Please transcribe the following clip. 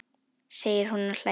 segir hún og hlær við.